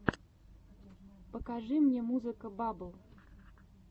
покажи мне музыка баббл